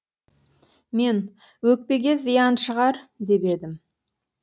мен өкпеге зиян шығар деп едім